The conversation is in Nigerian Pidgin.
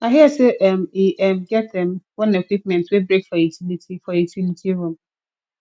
i hear say um e um get um one equipment wey break for utility for utility room